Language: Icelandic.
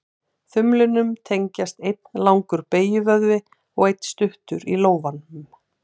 Þumlinum tengjast einn langur beygjuvöðvi og einn stuttur í lófanum.